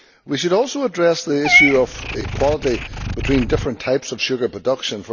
We should also address the issue of equality between different types of sugar production